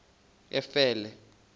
efele